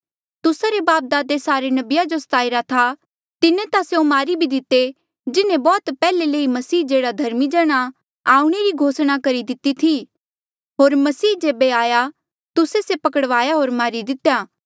तुस्सा रे बापदादे सारे नबिया जो स्ताईरा था तिन्हें ता स्यों मारी भी दिते जिन्हें बौह्त पैहले ले ई मसीह जेह्ड़ा धर्मी जण आ आऊंणा री घोषणा करी दिती थी होर मसीह जेबे आया तुस्से से पकड़वाया होर मारी दितेया